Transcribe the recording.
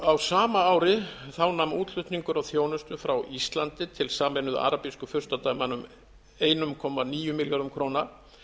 á sama ári nam útflutningur á þjónustu frá íslandi til sameinuðu arabísku furstadæmanna um einn komma níu milljörðum króna